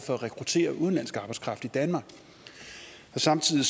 for at rekruttere udenlandsk arbejdskraft i danmark samtidig